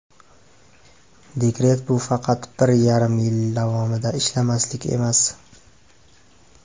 Dekret bu faqat bir yarim yil davomida ishlamaslik emas.